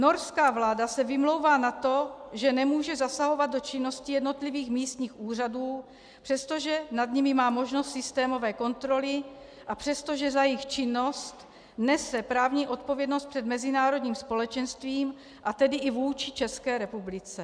Norská vláda se vymlouvá na to, že nemůže zasahovat do činnosti jednotlivých místních úřadů, přestože nad nimi má možnost systémové kontroly a přestože za jejich činnost nese právní odpovědnost před mezinárodním společenstvím, a tedy i vůči České republice.